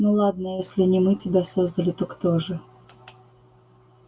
ну ладно если не мы тебя создали то кто же